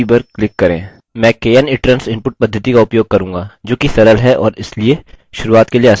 मैं knitrans input पद्धति का उपयोग करूँगा जो कि सरल है और इसीलिए शुरूआत के लिए आसान है